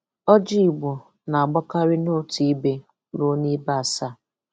Ọ́jị́ Ìgbò nà-ágbákárị́ notu íbē ruo níbē ásaá